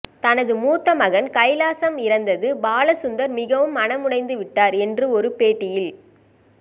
தனது மூத்த மகன் கைலாசம் இறந்தது பாலசந்தர் மிகவும் மனமுடைந்து விட்டார் என்று ஒரு பேட்டியில்